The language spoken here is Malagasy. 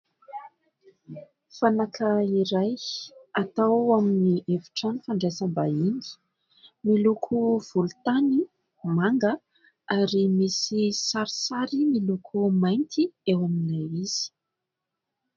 Fanaka iray atao amin'ny hefitrano fandraisam-bahiny, miloko volotany manga, ary misy sarisary miloko mainty eo amin'ilay izy.